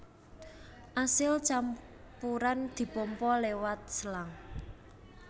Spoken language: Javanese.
Asil campuran dipompa liwat selang